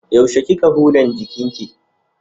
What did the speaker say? Yaushe kika hudan jikinki?